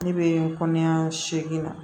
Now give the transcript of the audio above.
Ne bɛ kɔɲɔ segin na